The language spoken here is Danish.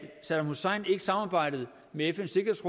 saddam hussein ikke samarbejdede med fns